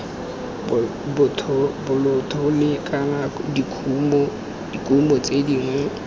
bolthole kana dikumo tse dingwe